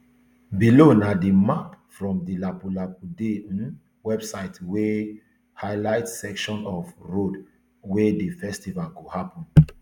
below na di map from di lapu lapu day um website wey highlights section of road wia di festival go happun